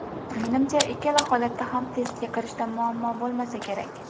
Menimcha, ikkala holatda ham testga kirishda muammo bo‘lmasa kerak.